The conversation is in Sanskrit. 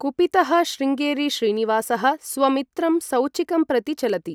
कुपितः शृंगेरी श्रीनिवासः स्वमित्रं सौचिकं प्रति चलति।